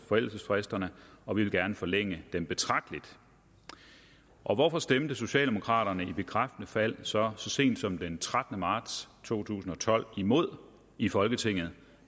forældelsesfristerne og vi vil gerne forlænge dem betragteligt og hvorfor stemte socialdemokraterne i bekræftende fald så så sent som den trettende marts to tusind og tolv imod i folketinget